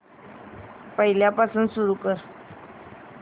पहिल्यापासून सुरू कर